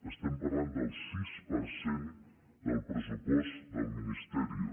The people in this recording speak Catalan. estem parlant del sis per cent del pressupost del ministerio